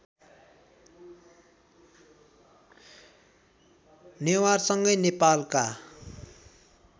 नेवारसँगै नेपालका